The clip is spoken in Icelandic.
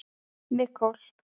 Nicole